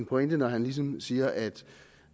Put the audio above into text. pointe når han siger at